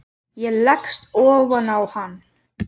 Ég leggst ofan á hann.